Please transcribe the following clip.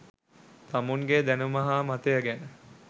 තමුන්ගේ දැනුම හා මතය ගැන